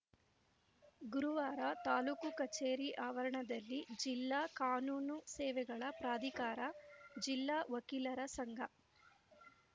ಗುರುವಾರ ತಾಲೂಕು ಕಚೇರಿ ಆವರಣದಲ್ಲಿ ಜಿಲ್ಲಾ ಕಾನೂನು ಸೇವೆಗಳ ಪ್ರಾಧಿಕಾರ ಜಿಲ್ಲಾ ವಕೀಲರ ಸಂಘ